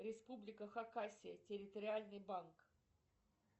республика хакасия территориальный банк